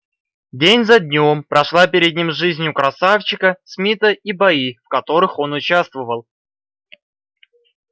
день за днём прошла перед ним жизнь у красавчика смита и бои в которых он участвовал